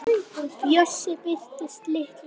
Bjössi birtist litlu seinna.